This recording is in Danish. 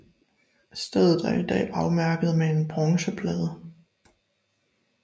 Stedet er i dag er afmærket med en bronzeplade